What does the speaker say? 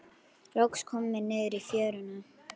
Loks komum við niður í fjöruna.